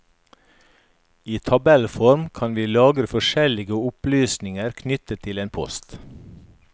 I tabellform kan vi lagre forskjellige opplysninger knyttet til en post.